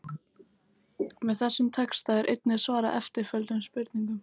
Með þessum texta er einnig svarað eftirtöldum spurningum: